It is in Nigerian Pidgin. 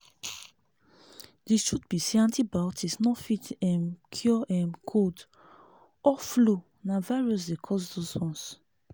di truth be say antibiotics no fit um cure um cold or flu na virus dey cause those ones."